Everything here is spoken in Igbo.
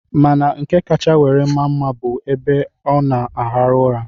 Mana nke kacha were maa mma bụ ebe ọ na-arahụ ụra.